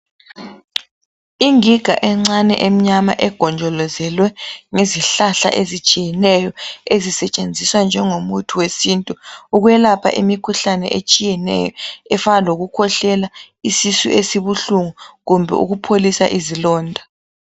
Ingiga encane emnyama egonjolozelwe ngezihlahla ezitshiyeneyo ezisetshenziswa njengomuthi wesintu ukwelapha imikhuhlane etshiyeneyo efana lokukhwehlela, isisu esibuhlungu kumbe ukupholisa izilonda.